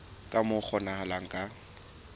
ka moo ho kgonahalang ka